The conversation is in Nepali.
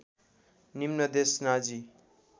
निम्न देश नाजी